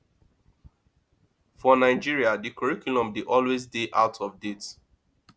for nigeria di curriculum dey always dey out of date